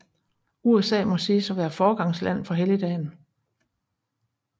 USA må siges at være foregangsland for helligdagen